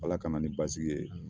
Ala ka na ni basigi ye